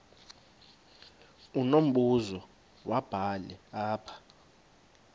unombuzo wubhale apha